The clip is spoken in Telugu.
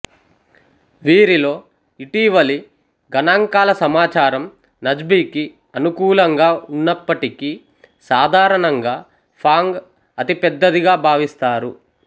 వీరిలో ఇటీవలి గణాంకాల సమాచారం నజ్బికి అనుకూలంగా ఉన్నప్పటికీ సాధారణంగా ఫాంగ్ అతిపెద్దదిగా భావిస్తారు